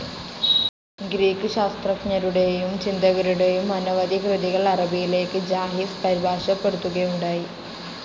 Greek ശാസ്ത്രജ്ഞരുടെയും, ചിന്തകരുടെയും അനവധി കൃതികൾ അറബിയിലേക്ക് ജാഹിസ് പരിഭാഷപ്പെടുത്തുകയുണ്ടായി.